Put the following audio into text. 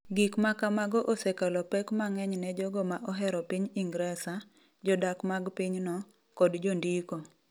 Gik ma kamago osekelo pek mang’eny ne jogo ma ohero piny Ingresa, jodak mag pinyno, kod jondiko.